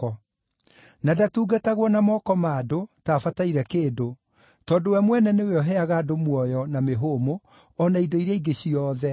Na ndatungatagwo na moko ma andũ, ta abataire kĩndũ, tondũ we mwene nĩwe ũheaga andũ muoyo na mĩhũmũ o na indo iria ingĩ ciothe.